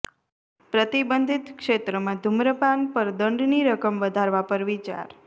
પ્રતિબંધિત ક્ષેત્રમાં ધૂમ્રપાન પર દંડની રકમ વધારવા પર વિચાર